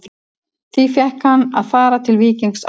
Því fékk hann að fara til Víkings á láni.